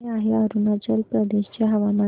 कसे आहे अरुणाचल प्रदेश चे हवामान